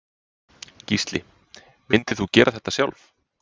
Gísli: Myndir þú gera þetta sjálf?